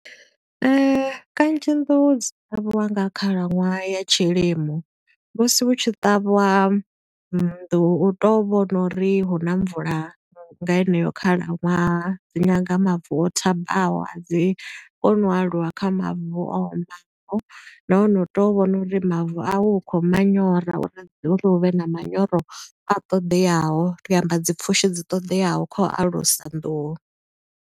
Kanzhi nḓuhu dzi ṱavhiwa nga khalaṅwaha ya tshilimo, musi hu tshi ṱavhwa nḓuhu u to vhona uri hu na mvula nga heneyo khalaṅwah. Dzi nyaga mavu o thabaho a dzi koni u aluwa kha mavu o omaho. Nahone u to vhona uri mavu awu u khou manyora uri hu vhe na manyoro a ṱoḓeaho, ndi amba dzi pfushi dzi toḓeaho kha u alusa nḓuhu.